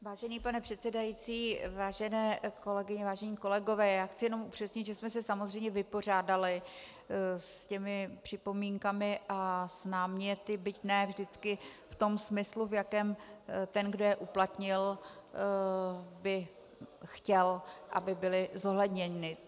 Vážený pane předsedající, vážené kolegyně, vážení kolegové, já chci jenom upřesnit, že jsme se samozřejmě vypořádali s těmi připomínkami a s náměty, byť ne vždycky v tom smyslu, v jakém ten, kdo je uplatnil, by chtěl, aby byly zohledněny.